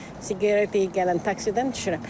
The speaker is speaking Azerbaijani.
Siqaret gələn taksidən düşürəm.